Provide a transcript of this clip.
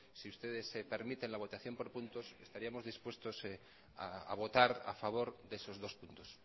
si ustedes permiten la votación por puntos estaríamos dispuestos a votar a favor de esos dos puntos